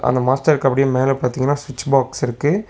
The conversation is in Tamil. அந்த மாஸ்டருக்கு அப்டியே மேல பாத்தீங்கன்னா சுவிட்ச் பாக்ஸ் இருக்கு.